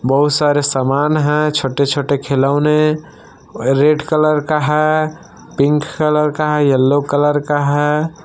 बहुत सारे सामान हैं छोटे-छोटे खिलौने रेड कलर का है पिंक कलर का है येलो कलर का है।